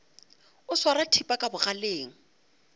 o swara thipa ka bogaleng